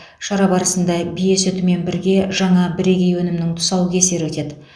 шара барысында бие сүтімен бірге жаңа бірегей өнімнің тұсаукесері өтеді